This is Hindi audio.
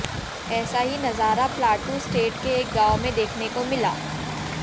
ऐसा ही नजारा प्लाटू स्टेट के एक गांव मे देखने को मिला